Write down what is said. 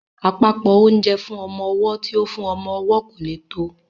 Àpòpọ́ oúnjẹ fún ọmọ ọwọ́ tí ó fún ọmọ owó kò lè tó